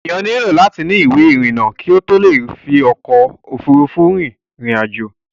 Enìyàn nílò láti ni ìwé ìrìnà kí ó tó le fi ọkò òfurufú rin ìrìn àjò.